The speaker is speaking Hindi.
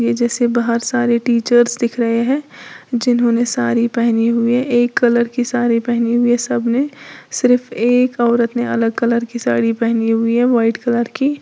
जैसे बाहर सारे टीचर्स दिख रहे हैं जिन्होंने साड़ी पहनी हुई एक कलर की साड़ी पहनी हुई है सब ने सिर्फ एक औरत ने अलग कलर की साड़ी पहनी हुई है व्हाइट कलर की।